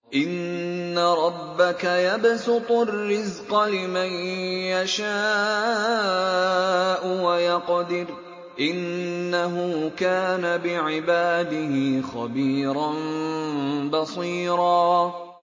إِنَّ رَبَّكَ يَبْسُطُ الرِّزْقَ لِمَن يَشَاءُ وَيَقْدِرُ ۚ إِنَّهُ كَانَ بِعِبَادِهِ خَبِيرًا بَصِيرًا